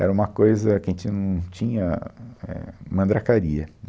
Era uma coisa que a gente não tinha, éh, mandracaria.